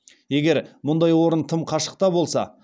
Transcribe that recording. егер мұндай орын тым қашықта болса